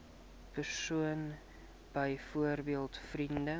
persoon byvoorbeeld vriend